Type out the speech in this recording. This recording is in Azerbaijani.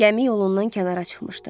Gəmi yolundan kənara çıxmışdı.